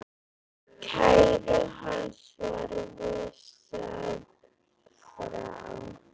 Kæru hans var vísað frá.